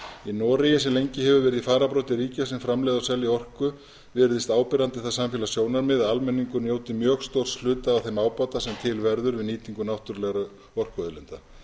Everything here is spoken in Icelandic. í noregi sem lengi hefur verið í fararbroddi ríkja sem framleiða og selja orku virðist áberandi það samfélagssjónarmið að almenningur njóti mjög stórs hluta af þeim ábata sem til verður við nýtingu náttúrulegra orkuauðlinda